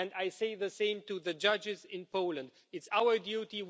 And I say the same to the judges in Poland it's our duty